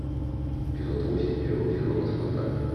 эпизод восемь первый сезон спартак